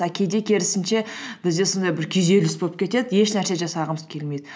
а кейде керісінше бізде сондай бір күйзеліс боп кетеді еш нәрсе жасағымыз келмейді